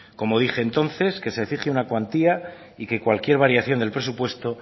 como dije entonces que se fije una cuantía y que cualquier variación del presupuesto